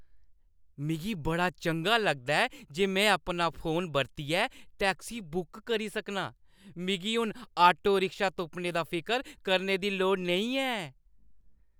मिगी बड़ा चंगा लगदा ऐ जे में अपना फोन बरतियै टैक्सी बुक करी सकनां। मिगी हून ऑटो-रिक्शा तुप्पने दा फिकर करने दी लोड़ नेईं ऐ।